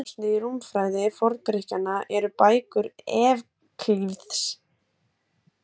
Höfuðdjásnið í rúmfræði Forngrikkjanna eru bækur Evklíðs.